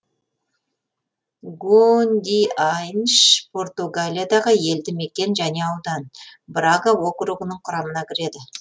гондиайнш португалиядағы елді мекен және аудан брага округінің құрамына кіреді